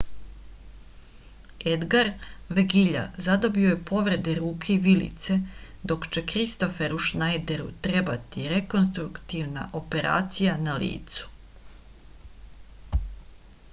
edgar vegilja zadobio je povrede ruke i vilice dok će kristoferu šnajderu trebati rekonstruktivna operacija na licu